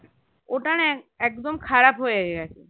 ওটা না একদম খারাপ হয়ে গেছে